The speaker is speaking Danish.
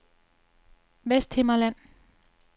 Vesthimmerland